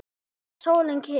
Er sólin kyrr?